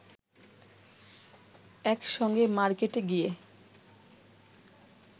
এক সঙ্গে মার্কেটে গিয়ে